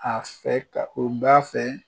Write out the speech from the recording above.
A fɛ ka, o b'a fɛ